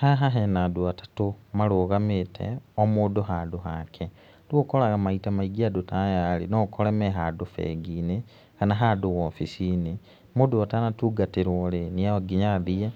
Haha hena andũ atatũ marũgamĩte, o mũndũ handũ hake, rĩu ũkoraga maita maingĩ andũ ta aya, no ũkore me handũ bengi-inĩ kana handũ wobici-inĩ, mũndũ atanatungatĩrwo rĩ no nginya athiĩ